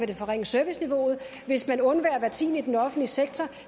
det forringe serviceniveauet hvis man undværer hver tiende i den offentlige sektor